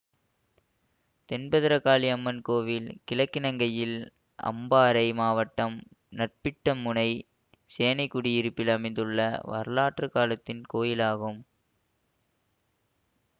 தென்பத்திரகாளி அம்மன் கோயில் கிழக்கிலங்கையில் அம்பாறை மாவட்டம் நற்பிட்டமுனை சேனைக்குடியிருப்பில் அமைந்துள்ள வரலாற்று காலத்தின் கோயில் ஆகும்